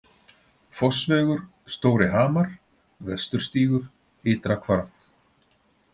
Fossvegur, Stóri Hamar, Vesturstígur, Ytra Hvarf